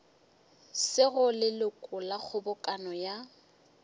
sego leloko la kgobokano ya